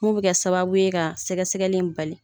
Mun bɛ kɛ sababu ye ka sɛgɛ sɛgɛli in bali.